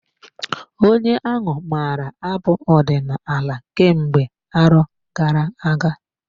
Onye ahụ maara abụ ọdinala kemgbe arọ gara-aga.